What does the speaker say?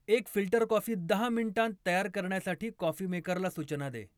एक filter coffee दहा मिनिटांत तयार करण्यासाठी कॉफी मेकर ला सूचना दे